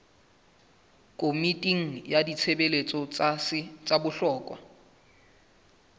komiting ya ditshebeletso tsa bohlokwa